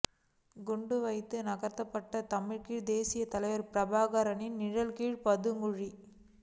குண்டு வைத்து தகர்க்கப்பட்ட தமிழீழ தேசியத் தலைவர் பிரபாகரனின் நிலக்கீழ் பதுங்குகுழி